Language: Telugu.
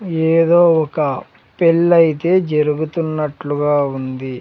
ఏదో ఒక పెళ్లి అయితే జరుగుతున్నట్లుగా ఉంది.